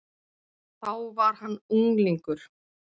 Þá var hann unglingur.